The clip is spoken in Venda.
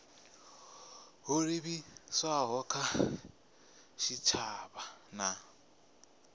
ho livhiswaho kha tshitshavha na